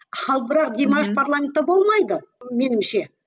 ал бірақ димаш парламентте болмайды меніңше